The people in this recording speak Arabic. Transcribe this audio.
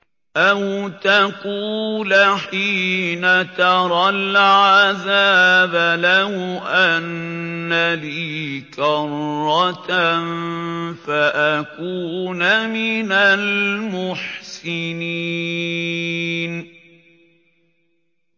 أَوْ تَقُولَ حِينَ تَرَى الْعَذَابَ لَوْ أَنَّ لِي كَرَّةً فَأَكُونَ مِنَ الْمُحْسِنِينَ